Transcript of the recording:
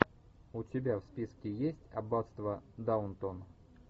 у тебя в списке есть аббатство даунтон